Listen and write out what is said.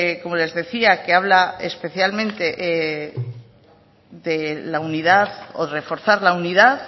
como les decía que habla especialmente de la unidad o reforzar la unidad